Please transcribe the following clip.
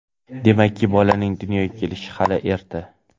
Demakki, bolaning dunyoga kelishiga hali erta.